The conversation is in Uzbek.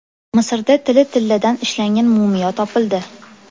Misrda tili tilladan ishlangan mumiyo topildi.